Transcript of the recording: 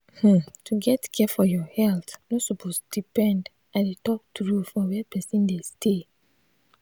nurses um wey sabi work i say for village clinic na like de only way only way for medical help.